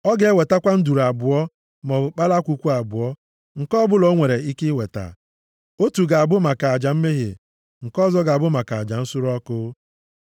Ọ ga-ewetakwa nduru abụọ maọbụ kpalakwukwu abụọ, nke ọbụla o nwere ike iweta. Otu ga-abụ maka aja mmehie, nke ọzọ ga-abụ maka aja nsure ọkụ.